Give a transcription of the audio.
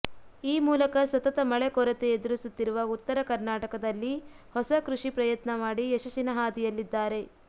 ಈ ಮೂಲಕ ಸತತ ಮಳೆ ಕೊರತೆ ಎದುರಿಸುತ್ತಿರುವ ಉತ್ತರ ಕರ್ನಾಟಕದಲ್ಲಿ ಹೊಸ ಕೃಷಿ ಪಯತ್ನ ಮಾಡಿ ಯಶಸ್ಸಿನ ಹಾದಿಯಲ್ಲಿದ್ದಾರೆ